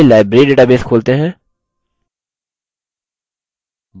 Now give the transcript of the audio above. चलिए library database खोलते हैं